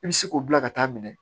I bɛ se k'o bila ka taa minɛ